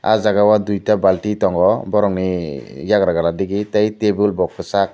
aww jaaga o duita balti tongo borok ni eiagra digi tai tabil bw kwsak.